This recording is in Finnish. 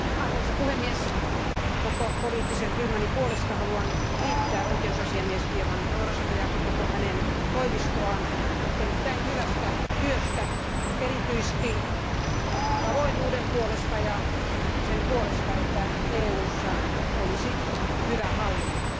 Arvoisa puhemies, koko poliittisen ryhmäni puolesta haluan kiittää oikeusasiamies Diamandourosta ja koko hänen toimistoaan erittäin hyvästä työstä erityisesti avoimuuden puolesta ja sen puolesta, että EUssa olisi hyvä hallinto.